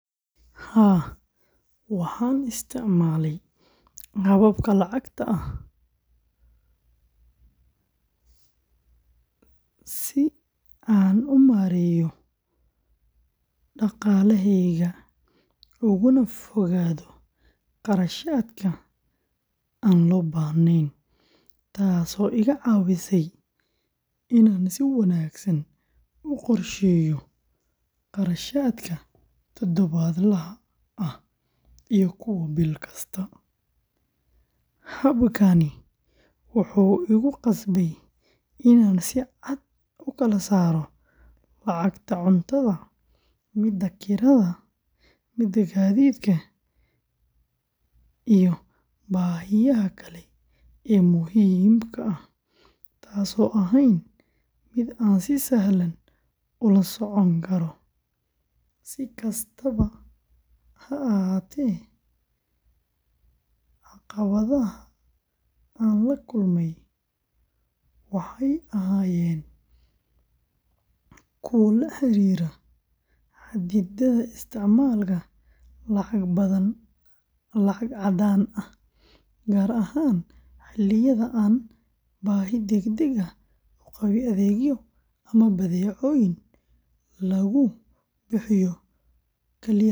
Haa, waxaan isticmaalay baakadaha lacagta si aan u maareeyo dhaqaalahayga ugana fogaado kharashaadka aan loo baahnayn, taasoo iga caawisay inaan si wanaagsan u qorsheeyo kharashaadka todobaadlaha ah iyo kuwa bil kasta. Habkaani wuxuu igu qasbay inaan si cad u kala saaro lacagta cuntada, kirada, gaadiidka, iyo baahiyaha kale ee muhiimka ah, taasoo ahayd mid aan si sahlan ula socon karo. Si kastaba ha ahaatee, caqabadaha aan la kulmay waxay ahaayeen kuwo la xiriiray xaddidaadda isticmaalka lacag caddaan ah, gaar ahaan xilliyada aan baahi degdeg ah u qabay adeegyo ama badeecooyin lagu bixiyo kaliya lacag elektaroonik ah.